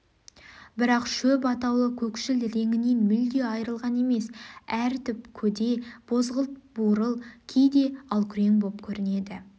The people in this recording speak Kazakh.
бірақ шөп атаулы көкшіл реңінен мүлде айырылған емес әр түп көде бозғыл-бурыл кейде алкүрең боп көрінеді